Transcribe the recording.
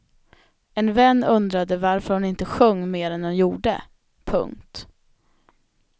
En vän undrade varför hon inte sjöng mer än hon gjorde. punkt